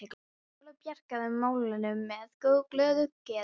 Lolla bjargaði málunum með glöðu geði.